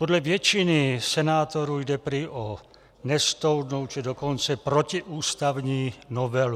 Podle většiny senátorů jde prý o nestoudnou, či dokonce protiústavní novelu.